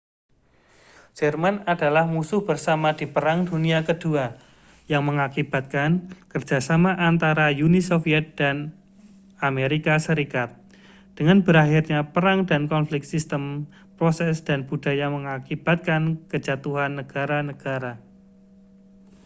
jerman adalah musuh bersama di perang dunia ke-2 yang mengakibatkan kerja sama antara uni soviet dan as dengan berakhirnya perang dan konflik sistem proses dan budaya mengakibatkan kejatuhan negara-negara